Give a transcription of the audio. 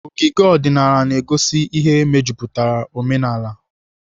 Ogige ọdịnaala na-egosi ihe mejupụtara omenala.